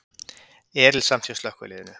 Erilsamt hjá slökkviliðinu